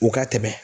U ka tɛmɛ